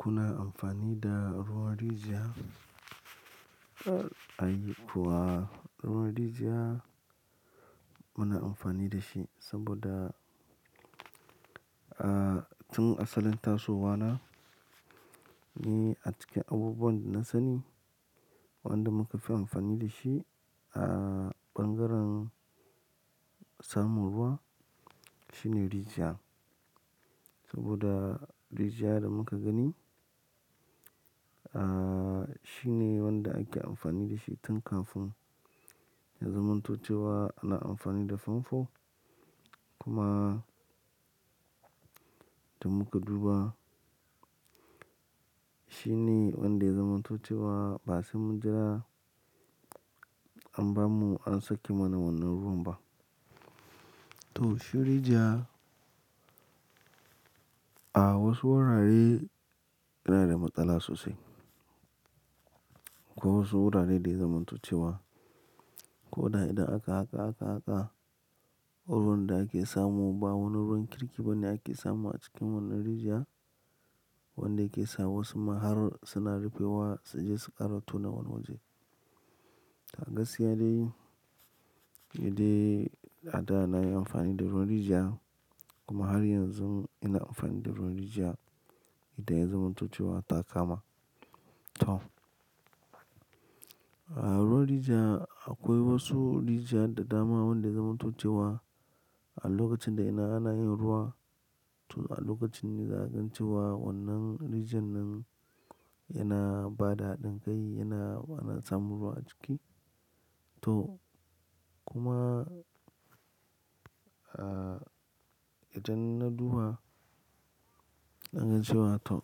Kuna amfani da ruwan rijiya? Ai kuwa ruwan rijiya muna amfani da shi saboda, ah tun a salain tasowa na, ni a cikin abubuwan da na sani, wanda muka fi amfani da shi a ɓangaren samun ruwa shine rijiya. Saboda rijiya da muka gani, ah shine wanda ake amfani da shi tun kafin. Ya zamanto ce wa ana amfani da famfo kuma da muka duba shine wanda ya zamanto ce wa ba sai mun jira an bamu, an sake mana wannan ruwan ba. To shi rijiya a wasu wurare yana da matsala sosai. Ko wasu wurare da ya zamanto ce wa. Ko da idan aka, hadu, aka, haka ruwan da ake samu ba wani ruwan kirki ba ne ake samu a cikin wannan rijiya. Wanda yake sa wasu ma har suna rufe wa su je su ƙara tona wani waje. A gaskiya dai, ni dai a da na yi amfani da ruwan rijiya kuma har yanzun ina amfani da ruwan rijiya idan ya zamanto ce wa ta kama. To a ruwan rijiya akwai wasu rijiya da dama wanda ya zamanto ce wa a lokacin da idan ana yin ruwa to a lokacin ne zakagan ce wa wannan rijiyan nan yana bada haɗin kai, yana, ana samun ruwa a ciki. To kuma, ah idan na duba, na gan cewa to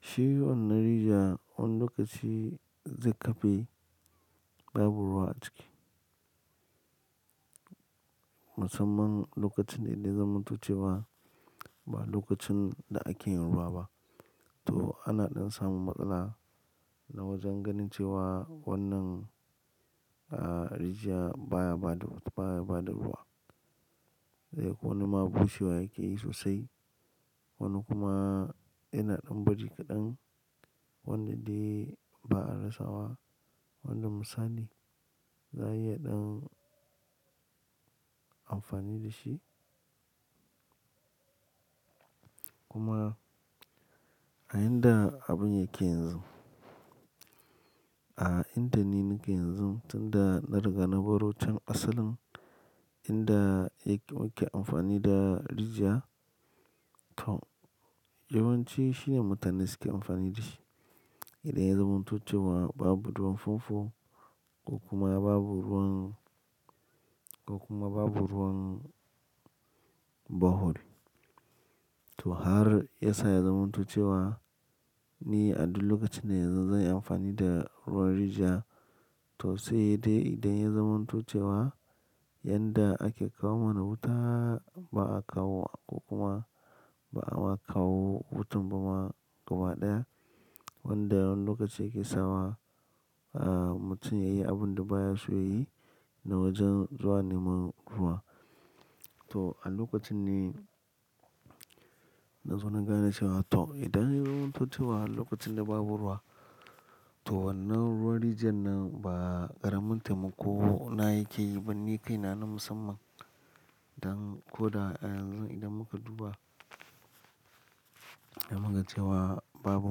shi wannan rijiya wani lokaci zai kafe babu ruwa a ciki. Musamman lokacin dai da ya zamanto ce wa ba a lokacin da ake yin ruwa ba. To ana ɗan samun matsala na wajen ganin cewa wannan ah rijiya baya bada, baya bada ruwa. Zai ko wani ma bushewa yake yi sosai. Wani kuma yana ɗan bari kaɗan wanda dai ba a rasawa wani misali. Za a iya ɗan amfani da shi. Kuma a inda abun yake yanzu, a inda ni nake yanzu tun da na riga na baro can asalin inda yake muke amfani da rijiya. To yawanci shine mutane suke amfani da shi. Idan ya zamanto ce wa babu ruwan famfo ko kuma babu ruwan, ko kuma babu ruwan bohol. To har ya sa ya zamanto ce wa ni a duk lokacin da zan yi amfani da ruwan rijiya. To sai dai idan ya zamanto ce wa yanda ake kawo mana wuta ba a kawo wa ko kuma ba'a ma kawo wutan ba ma gaba ɗaya. Wanda wani lokaci yake sawa, ah mutum yayi abun da baya so yayi na wajen zuwa neman ruwa. To a lokacin ne na zo na gane cewa to idan ya zamanto ce wa lokacin da babu ruwa, to wannan ruwan rijiyan nan ba ƙaramin taimako na yake yi ba ni kaina na musamman. Dan ko da a yanzun idan muka duba, zamu ga cewa ce wa babu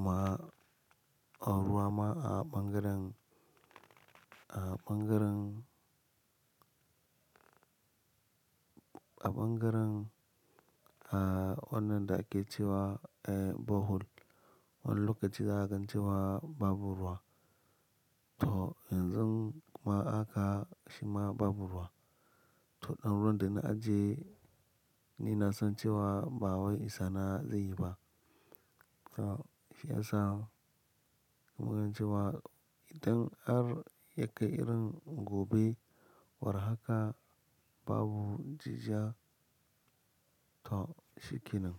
ma ruwa ma a ɓangaren, a ɓangaren, a ɓangaren ah wannan da ake cewa eh bohol wani lokaci za ka gan cewa babu ruwa. To yanzun kuma aka shi ma babu ruwa. To ɗan ruwan da na ajiye ni na san cewa ba wai isana zai yi ba. To shi ya sa muka gan cewa idan har ya kai irin gobe war haka babu jijiya to shi ke nan.